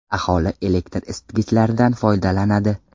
Aholi elektr isitgichlardan foydalanadi.